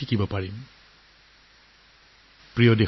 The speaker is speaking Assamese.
মোৰ প্ৰিয় দেশবাসী